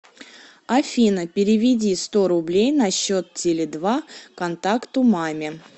афина переведи сто рублей на счет теле два контакту маме